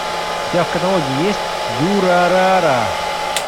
у тебя в каталоге есть дюрарара